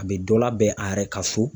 A bɛ dɔ labɛn a yɛrɛ ka so.